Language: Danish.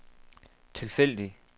tilfældig